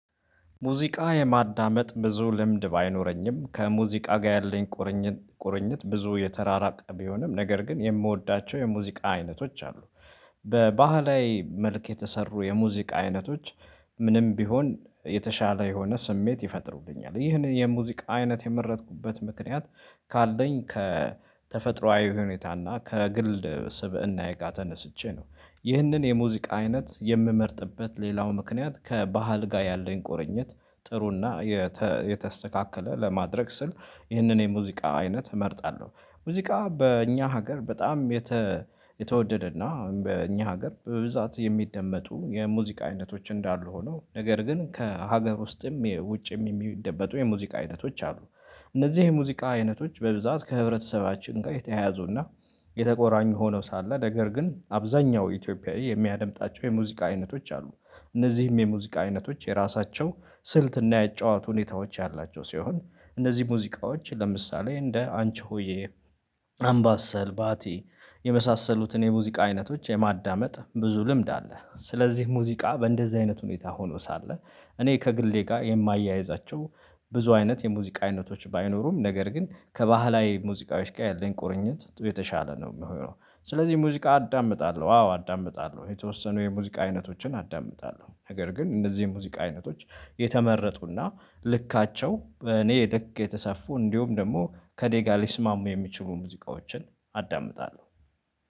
ሙዚቃ የማዳመጥ ብዙ ልምድ ባይኖረኝም ከሙዚቃ ጋር ያለኝ ቁርኝት ቁርኝት ብዙ የተራራቀ ቢሆንም ነገር ግን የምወዳቸው የሙዚቃ አይነቶች አሉ። በባህላዊ መልክ የተሰሩ የሙዚቃ አይነቶች። ምንም ቢሆን የተሻለ የሆነ ስሜት ይፈጥሩቡኛል ይህን የሙዚቃ አይነት የመረጥኩበት ምክንያት ካለኝ ከተፈጥሮአዊ ሁኔታና ከግል ስብእናዬ ጋ ተነስቼ ነው ይህንን የሙዚቃ አይነት የምመርጥበት ሌላው ምክንያት ከባህል ጋር ያለኝ ቆርኝት ጥሩና የተስተካከለ ለማድረግ ስል ይህንን የሙዚቃ አይነት እመርጣለሁ። ሙዚቃ በእኛ ሀገር በጣም የተወደደና በእኛ ሀገር በብዛት የሚደመጡ የሙዚቃ አይነቶች እንዳሉ ሆኖ ነገር ግን ከሀገር ውስጥም የውጭም የሚደበጡ የሙዚቃ አይነቶች አሉ። እነዚህ የሙዚቃ አይነቶች በብዛት ከህብረተሰባችን ጋር የተያያዙና የተቆራኙ ሆነው ሳለ ነገር ግን አብዛኛው ኢትዮጵያዊ የሚያደምጣቸው የሙዚቃ አይነቶች አሉ። እነዚህም የሙዚቃ አይነቶች የራሳቸው ስልትና የጨዋወት ሁኔታዎች ያላቸው ሲሆን እነዚህ ሙዚቃዎች ለምሳሌ እንደ አንቺ ሆዬ አምባሰል ባቲ የመሳሰሉትን የሙዚቃ አይነቶች የማዳመጥ ብዙ ልምድ አለ ስለዚህ ሙዚቃ በእንደዚህ አይነት ሁኔታ ሆኖ ሳለ እኔ ከግሌ ጋር የማያያዛቸው ብዙ አይነት የሙዚቃ አይነቶች ባይኖሩም ነገር ግን ከባህላዊ ሙዚቃዎች ጋር ያለን ቁርኝት የተሻለ ነው። የሚሆነው ስለዚህ ሙዚቃ አዳምጣለሁ አዎ አዳምጣለሁ የተወሰኑ የሙዚቃ አይነቶችን አዳምጣለሁ ነገር ግን እነዚህ የሙዚቃ አይነቶች የተመረጡና ልካቸው እኔ ልክ የተሰፉ እንዲሁም ደግሞ ከኔጋ ሊስማሙ የሚችሉ ሙዚቃዎችን አዳምጣለሁ